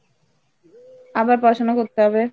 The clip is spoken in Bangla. আবার পড়াশুনা করতে হবে।